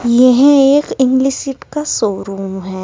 यह एक English seat का शोरूम है।